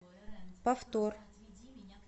повтор